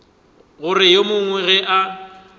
gore ge yo mongwe a